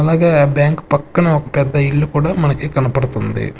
అలాగే బ్యాంక్ పక్కన ఒక పెద్ద ఇల్లు కూడా మనకి కనపడుతుంది.